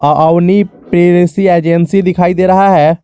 Avani Pepsi agency दिखाई दे रहा है।